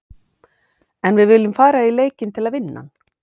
En við viljum fara í leikinn til að vinna hann.